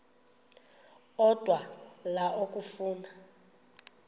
odwa la okafuna